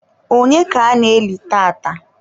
onye ka ana-eli tata?